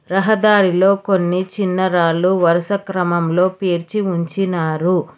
రహదారిలో కొన్ని చిన్న రాళ్లు వరుస క్రమంలో పేర్చి ఉంచినారు.